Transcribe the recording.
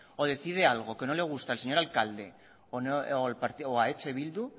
o decide algo que no le gusta al señor alcalde o a eh bildu